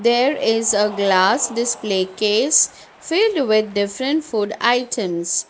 there is a glass display case filled with different food items.